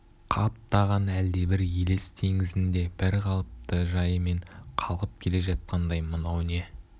қаптаған әлдебір елес теңізінде бір қалыпты жайымен қалқып келе жатқандай мынау не